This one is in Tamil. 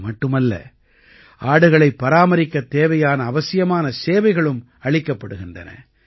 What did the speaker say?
இது மட்டுமல்ல ஆடுகளைப் பராமரிக்கத் தேவையான அவசியமான சேவைகளும் அளிக்கப்படுகின்றன